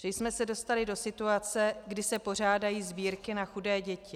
Že jsme se dostali do situace, kdy se pořádají sbírky na chudé děti.